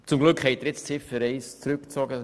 Zum Glück haben Sie die Ziffer 1 zurückgezogen.